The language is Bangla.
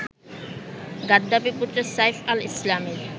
গাদ্দাফি-পুত্র সাইফ আল-ইসলামের